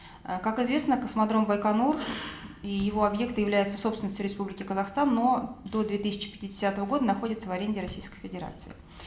э как известно космодром байконур и его объекты являются собственностью республики казахстан но до две тысячи пятидесятого года находятся в аренде российской федерации